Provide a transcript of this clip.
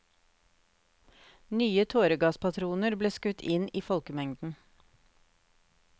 Nye tåregasspatroner ble skutt inn i folkemengden.